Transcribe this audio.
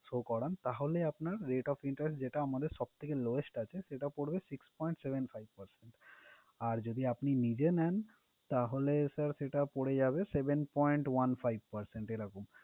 Show করান, তাহলে আপনার rate of interest, যেটা আমাদের সব থেকে lowest আছে সেটা পড়বে six point seven five percent । আর যদি আপনি নিজে নেন তাহলে sir, সেটা পড়ে যাবে seven point one five percent এই রকম।